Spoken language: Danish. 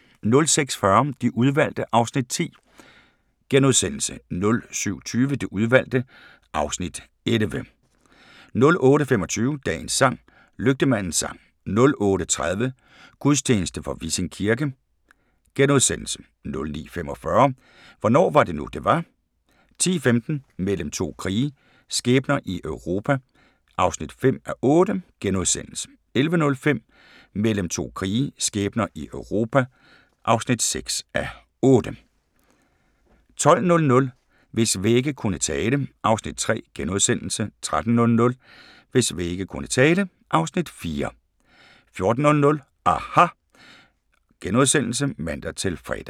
06:40: De Udvalgte (Afs. 10)* 07:20: De udvalgte (Afs. 11) 08:25: Dagens sang: Lygtemandens sang 08:30: Gudstjeneste fra Vissing Kirke * 09:45: Hvornår var det nu, det var? 10:15: Mellem to krige – skæbner i Europa (5:8)* 11:05: Mellem to krige – skæbner i Europa (6:8) 12:00: Hvis vægge kunne tale (Afs. 3)* 13:00: Hvis vægge kunne tale (Afs. 4) 14:00: aHA! *(man-fre)